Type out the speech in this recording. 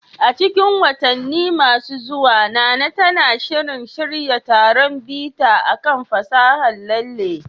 A cikin watanni masu zuwa, Nana tana shirin shirya taron bita kan fasahar lalle